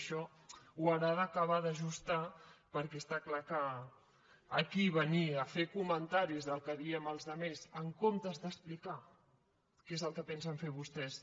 això ho haurà d’acabar d’ajustar perquè està clar que aquí venir a fer comentaris del que diem els altres en comptes d’explicar què és el que pensen fer vostès